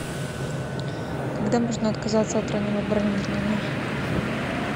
когда можно отказаться от раннего бронирования